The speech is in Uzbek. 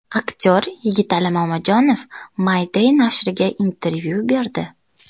Aktyor Yigitali Mamajonov My Day nashriga intervyu berdi .